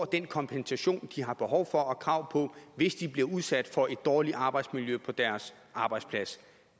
den kompensation de har behov for og krav på hvis de bliver udsat for et dårligt arbejdsmiljø på deres arbejdsplads